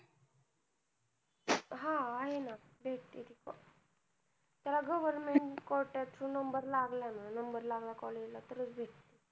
हा आहे ना भेटती ना. त्याला government quota त जर number लागला ना, number लागला college ला तर चं भेटती.